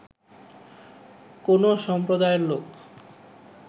কোনো সম্প্রদায়ের লোক